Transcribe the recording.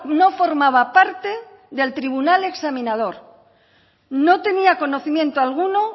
no formaba parte del tribunal examinador no tenía conocimiento alguno